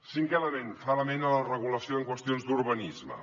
cinquè element fa referència a la regulació en qüestions d’urbanisme